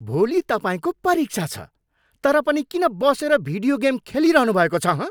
भोलि तपाईँको परीक्षा छ तर पनि किन बसेर भिडियो गेम खेलिरहनु भएको छ हँ?